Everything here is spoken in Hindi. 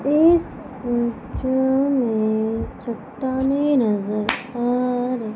इस फोटो में चट्टानें नजर आ र--